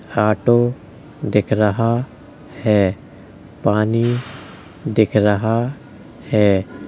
Auto दिख रहा है। पानी दिख रहा है।